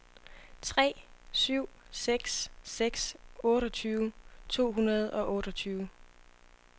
tre syv seks seks otteogtyve to hundrede og otteogtyve